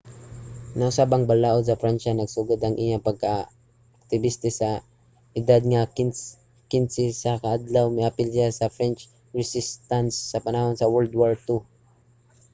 nausab ang balaud sa pransya. nagsugod ang iyang pagkaaktibista sa edad nga 15 sa kadtong miapil siya sa french resistance sa panahon sa world war ii